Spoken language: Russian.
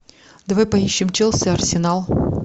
давай поищем челси арсенал